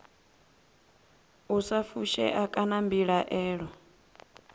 u sa fushea kana mbilaelo